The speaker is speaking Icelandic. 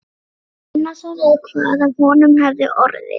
Einarsson eða hvað af honum hefði orðið.